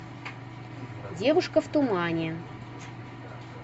девушка в тумане